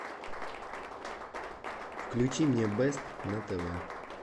включи мне бест на тв